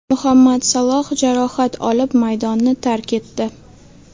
Muhammad Saloh jarohat olib maydonni tark etdi.